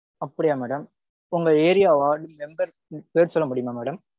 அப்படியா madam. உங்க area ward member பேர் சொல்ல முடியுமா madam?